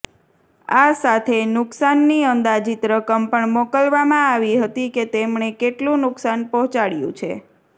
આ સાથે નુકસાનની અંદાજીત રકમ પણ મોકલવામાં આવી હતી કે તેમણે કેટલુ નુકસાન પહોંચાડ્યું છે